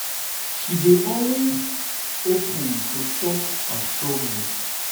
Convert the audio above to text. she dey always dey open to talk about her struggles.